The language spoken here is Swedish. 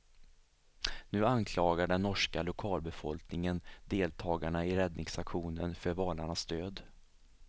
Nu anklagar den norska lokalbefolkningen deltagarna i räddningsaktionen för valarnas död.